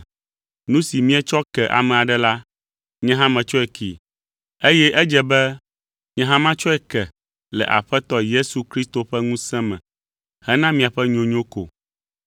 Nu si mietsɔ ke ame aɖe la, nye hã metsɔe kee, eye edze be nye hã matsɔe ke le Aƒetɔ Yesu Kristo ƒe ŋusẽ me hena miaƒe nyonyo ko.